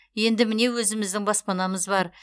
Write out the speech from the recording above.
енді міне өзіміздің баспанамыз бар